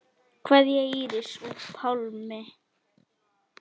Kveðja, Íris og Pálmi.